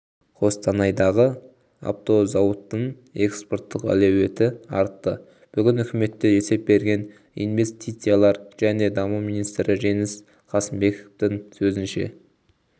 қостанайдағы автозауыттың экспорттық әлеуеті артты бүгін үкіметте есеп берген инвестициялар және даму министрі жеңіс қасымбектің сөзінше